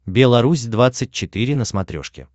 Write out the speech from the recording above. белорусь двадцать четыре на смотрешке